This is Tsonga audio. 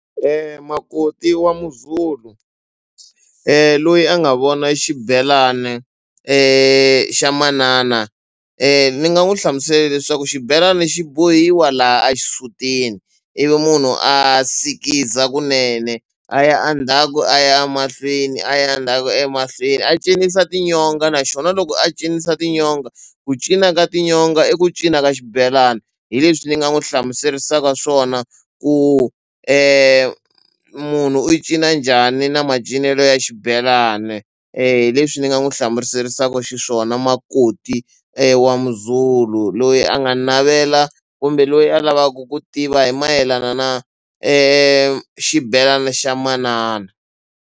Makoti wa muZulu loyi a nga vona xibelana xa manana ni nga n'wi hlamusela leswaku xibelani xi bohiwa laha a xisutini ivi munhu a sikiza kunene a ya endzhaku a ya mahlweni a ya endzhaku emahlweni a cinisa tinyonga na xona loko a cinisa tinyonga ku cina ka tinyonga i ku cinca ka xibelani hi leswi ni nga n'wi hlamuseriwaka swona ku munhu u cina njhani na macinelo ya xibelani hi leswi ni nga n'wi hlamuseriwaka xiswona makoti wa muZulu loyi a nga navela kumbe loyi a lavaka ku tiva hi mayelana na xibelani xa manana.